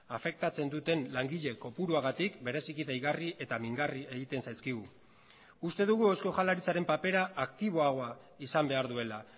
afektatzen duten langile kopuruagatik bereziki deigarri eta mingarri egiten zaizkigu uste dugu eusko jaurlaritzaren papera aktiboagoa izan behar duela